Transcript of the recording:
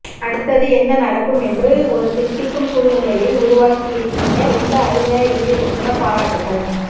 அடுத்தது என்ன நடக்கும் என்று ஒரு தித்திக்கும் சூழ்நிலையை உருவாக்கியிருக்கீங்க ரொம்ப அருமையா எழுதியிருக்கீங்க பாராட்டுக்கள்